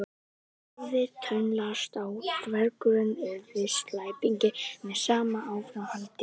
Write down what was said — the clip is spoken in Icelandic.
Hann hafði tönnlast á að drengurinn yrði slæpingi með sama áframhaldi.